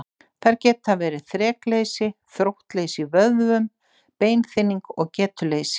Þær geta verið þrekleysi, þróttleysi í vöðvum, beinþynning og getuleysi.